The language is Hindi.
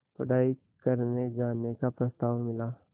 पढ़ाई करने जाने का प्रस्ताव मिला